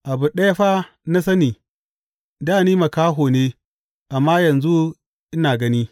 Abu ɗaya fa na sani, dā ni makaho ne, amma yanzu ina gani!